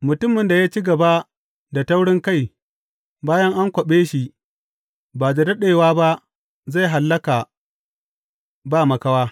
Mutumin da ya ci gaba da taurinkai bayan an kwaɓe shi ba da daɗewa ba zai hallaka ba makawa.